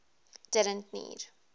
didn t need